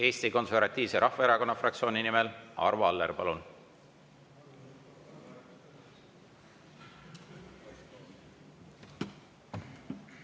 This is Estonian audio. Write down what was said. Eesti Konservatiivse Rahvaerakonna fraktsiooni nimel Arvo Aller, palun!